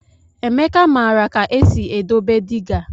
Emeka maara ka esi edobe dịga.